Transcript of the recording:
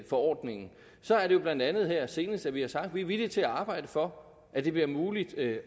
forordningen og så er det jo blandt andet her senest sådan at vi har sagt at vi er villige til at arbejde for at det bliver muligt at